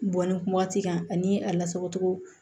Bɔn ni waati kan ani a lasagocogo